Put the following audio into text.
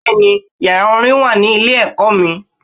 Bẹ́ẹ̀ni yàrá Orin wà ní ilé èkó mi